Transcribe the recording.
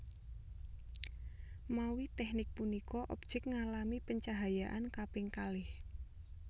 Mawi teknik punika objek ngalami pencahayaan kaping kalih